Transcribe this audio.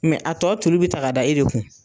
Mɛ a tɔ turu bi ta g'a da e de kun